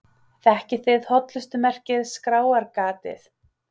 Þekkið þið hollustumerkið Skráargatið?